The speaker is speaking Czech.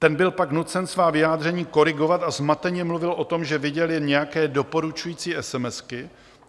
Ten byl pak nucen svá vyjádření korigovat a zmateně mluvil o tom, že viděl jen nějaké doporučující esemesky.